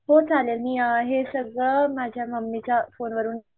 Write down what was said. हो चालेल मी हे सगळ माझ्या मम्मी च्या फोन वरून